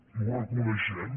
i ho reconeixem